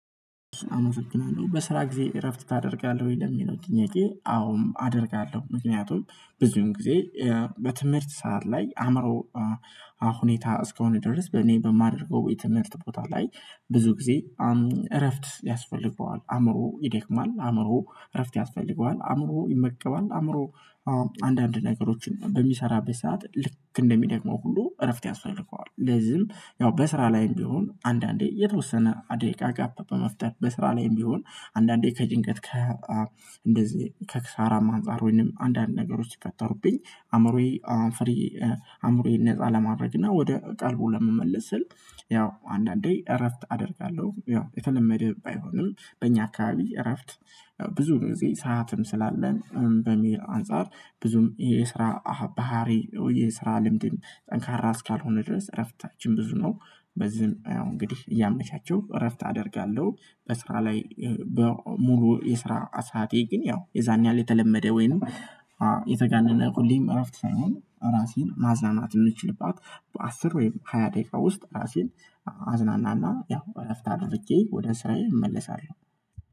አመሰግናለሁ በስራ ጊዜ እረፍት ታደርጋለህ ወይ የሚለው ጥያቄ? አዎም አደርጋለሁ። ምክንያቱም ብዙዉን ጊዜ በትምህርት ሰዓት ላይ አእምሮ ሁኔታ እስከሆነ ድረስ በእኔ በማደርገው የትምህርት ቦታ ላይ ብዙ ጊዜ እረፍት ያስፈልገዋል አእምሮ ይደክማል አእምሮ እረፍት ያስፈልገዋል አእምሮ የመቀባል አእምሮ አንዳንድ ነገሮችን በሚሰራበት ሰዓት ልክ እንደሚደግመው ሁሉ እረፍት ያስፈልገዋል። ለዚህም ያው በስራ ላይም ቢሆን አንዳንዴ የተወሰነ አንድ ደቂቃ ጋፕ በመፍጠር በስራ ላይም ቢሆን አንዳንዴ ከጭንቀት ከ እንደዚህ ከክሳራም አንፃር ወይንም አንዳንድ ነገሮች ሲፈተሩብኝ አእምሮዬ አእምሮዬን ነፃ ለማድረግና ወደ ቀልቡ ለመመለስ ስል ያው አንዳንዴ እረፍት አደርጋለሁ። ያው የተለመደ ባይሆንም በእኛ አካባቢ እረፍት ብዙ ጊዜ ሰዓትም ስላለን በሚል አንፃር ብዙም የስራ ባህሪ የስራ ልምድ ጠንካራ እስካልሆነ ድረስ እረፍታችን ብዙ ነው። በዚህም እንግዲህ እያመቻቸው እረፍት አደርጋለሁ። በስራ ላይ ሙሉ የስራ ሰዓቴ ግን ያው የዛን ያህል የተለመደ ወይንም የተጋነነ ሁሌ እረፍት ሳይሆን ራሴን ማዝናናት የምችልባት በአስር ወይም ሃያ ደቂቃ ውስጥ ራሴን አዝናናና ያው እረፍት አድርጌ ወደ ስራዬ እመለሳለሁ